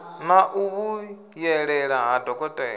na u vhuyelela ha dokotela